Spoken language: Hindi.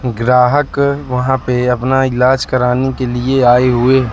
ग्राहक वहां पे अपना इलाज कराने के लिए आए हुए--